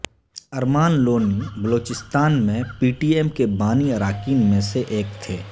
ارمان لونی بلوچستان میں P T M کے بانی اراکین میں سے ایک تھے